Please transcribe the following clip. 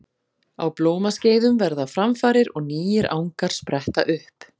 Á blómaskeiðum verða framfarir og nýir angar spretta upp.